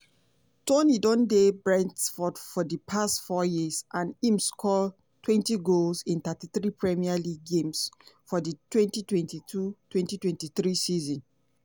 toney um don dey brentford for di past four years and im score twenty goals in thirty three premier league games for di twenty twenty two to twenty twenty three season.